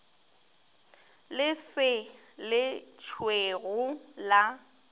le se le tšhwego la